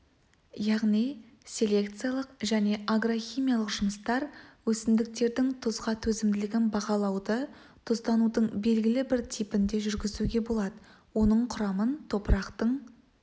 яғни селекциялық және агрохимиялық жұмыстар өсімдіктердің тұзға төзімділігін бағалауды тұзданудың белгілі бір типінде жүргізуге болады оның құрамын топырақтың